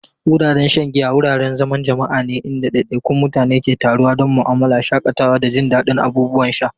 Wuraren shan giya wuraren zaman jama'a ne inda ɗaiɗaikun mutane ke taruwa don mu'amala, shakatawa, da jin daɗin abubuwan sha.